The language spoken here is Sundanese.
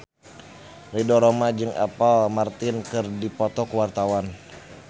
Ridho Roma jeung Apple Martin keur dipoto ku wartawan